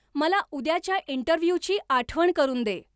मला उद्याच्या इंटरव्ह्यूची आठवण करून दे